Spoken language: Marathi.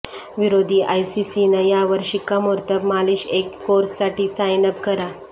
विरोधी आयसीसीनं यावर शिक्कामोर्तब मालिश एक कोर्स साठी साइन अप करा